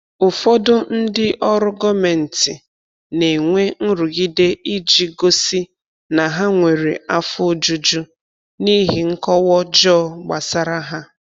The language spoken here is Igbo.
Ụfọdụ ndị ọrụ gọmenti na-enwe nrụgide iji gosi na ha nwere afọ ojuju n’ihi nkọwa ọjọọ gbasara ha.